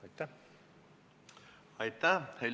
Aitäh!